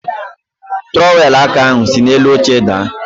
Trọwelụ aka ahụ siri n'elu oche daa.